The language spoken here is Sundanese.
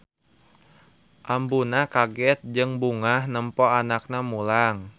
Ambuna kaget jeung bungah nempo anakna mulang.